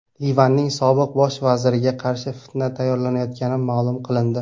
Livanning sobiq bosh vaziriga qarshi fitna tayyorlanayotgani ma’lum qilindi.